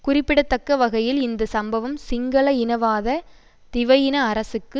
குறிப்பிடத்தக்க வகையில் இந்த சம்பவம் சிங்கள இனவாத திவயின அரசுக்கு